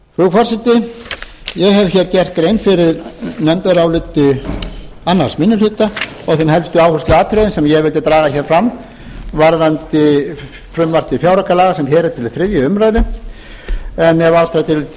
forseti ég hef gert grein fyrir framhaldsnefndaráliti annar minni hluta og þeim helstu áhersluatriðum sem ég vildi draga fram varðandi frumvarp til fjáraukalaga sem hér er til þriðju umræðu en ef